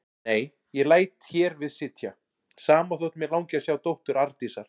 Nei, ég læt hér við sitja, sama þótt mig langi að sjá dóttur Arndísar.